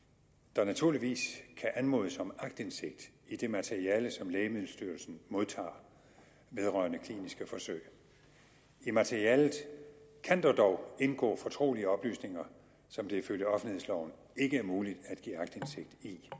der naturligvis kan anmodes om aktindsigt i det materiale som lægemiddelstyrelsen modtager vedrørende kliniske forsøg i materialet kan der dog indgå fortrolige oplysninger som det ifølge offentlighedsloven ikke er muligt